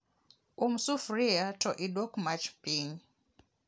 Um sufria to iduok mach piny